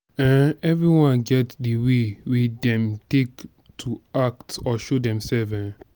um everybody get the way wey dem take to act or show themselves um